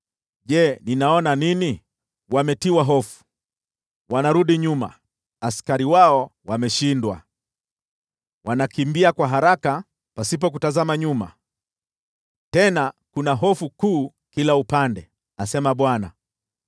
Je, ninaona nini? Wametiwa hofu, wanarudi nyuma, askari wao wameshindwa. Wanakimbia kwa haraka pasipo kutazama nyuma, tena kuna hofu kuu kila upande,” asema Bwana .